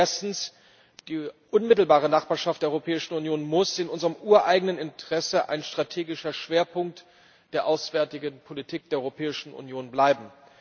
Erstens Die unmittelbare Nachbarschaft der Europäischen Union muss in unserem ureigenen Interesse ein strategischer Schwerpunkt der auswärtigen Politik der Europäischen Union bleiben.